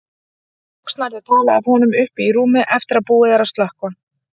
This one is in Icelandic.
Loks nærðu tali af honum uppi í rúmi eftir að búið er að slökkva.